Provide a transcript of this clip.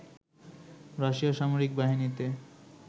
রাশিয়ার সামরিক বাহিনীতে